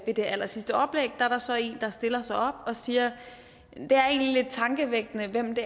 det allersidste oplæg er der så en der stiller sig op og siger det er egentlig lidt tankevækkende hvem det